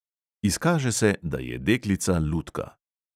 Izkaže se, da je deklica lutka.